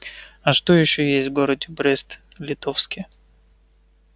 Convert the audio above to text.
а что ещё есть в городе брест литовске